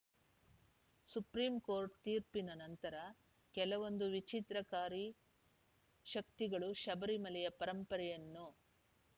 supreme court ತೀರ್ಪಿನ ನಂತರ ಕೆಲವೊಂದು ವಿಚ್ಛಿದ್ರಕಾರಿ ಶಕ್ತಿಗಳು ಶಬರಿಮಲೆಯ ಪರಂಪರೆಯನ್ನು